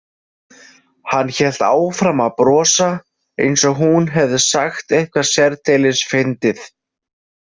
Hann hélt áfram að brosa, eins og hún hefði sagt eitthvað sérdeilis fyndið.